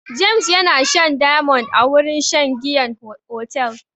James yana shan diamond a wurin shan giyan otel.